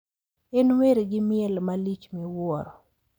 En wer gi miel malich miwuoro.